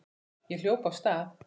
Ég hljóp af stað.